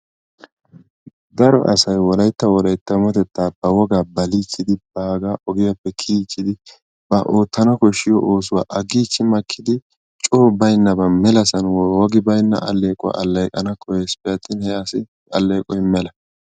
Daro asay Wolaytta wolayttaawatettaa baliichchidi baagaa ogiyappe kiyiichchidi ba oottana koshshiyo oosuwa aggiichchi makkidi coo baynnaban melasan wogi baynna alleequwa alleeqana koyyesippe attin he asi alleeqoy mela.